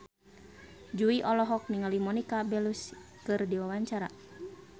Jui olohok ningali Monica Belluci keur diwawancara